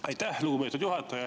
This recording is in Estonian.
Aitäh, lugupeetud juhataja!